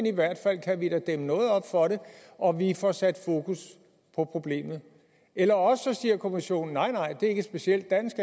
i hvert fald dæmme noget op for det og vi får sat fokus på problemet eller også siger kommissionen nej det er ikke et specielt dansk